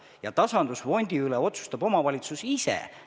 Ja tasandusfondi raha üle otsustab omavalitsus ise.